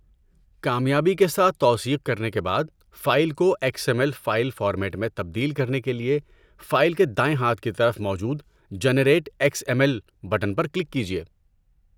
کامیابی کے ساتھ توثیق کرنے کے بعد، فائل کو X M L file format میں تبدیل کرنے کے لیے فائل کے دائیں ہاتھ کی طرف موجود 'generate X M L' button پر کلک کیجئے۔